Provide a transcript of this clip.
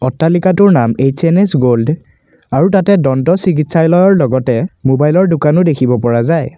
অট্টালিকাটোৰ নাম H N S gold আৰু তাতে দন্ত চিকিৎসাল়য়ৰ লগতে মোবাইল ৰ দোকানও দেখিব পৰা যায়।